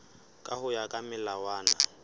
ka ho ya ka melawana